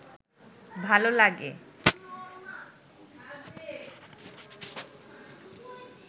ভাল লাগে?